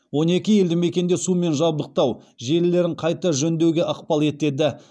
он екі елді мекенде сумен жабдықтау желілерін қайта жөндеуге ықпал етеді